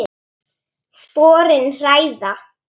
Sporin hræða.